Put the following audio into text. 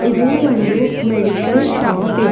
ಇದು ಒಂದು medical shop ಇದೆ.